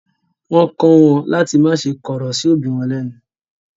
Wọ́n kọ́ wọn láti má ṣe kọ̀rọ̀ sí òbí wọn lẹ́nu.